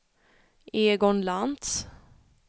Egon Lantz